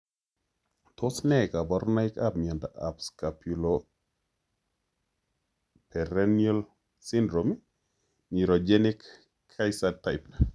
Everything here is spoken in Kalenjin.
Tos ne kaborunoikab miondop scapuloperoneal syndrome, neurogenic, kaeser type?